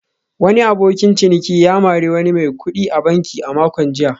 Wani abokin ciniki ya mari wani mai kudi a banki a makon jiya